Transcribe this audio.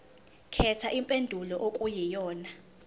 khetha impendulo okuyiyona